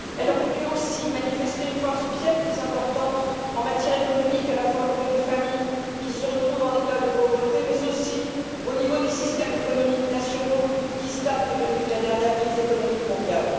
Elle aurait dû aussi manifester une force bien plus importante en matière économique, à la fois vis à vis des familles qui se retrouvent en état de pauvreté, mais aussi au regard des systèmes économiques nationaux qui stagnent depuis la dernière crise économique mondiale.